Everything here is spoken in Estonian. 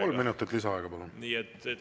Kolm minutit lisaaega, palun!